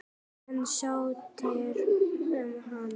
En sóttirðu um hana?